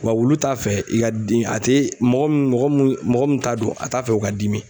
Wa wulu t'a fɛ i ka den a te mɔgɔ mun mɔgɔ mu mɔgɔ mun t'a dɔn a t'a fɛ o ka dimi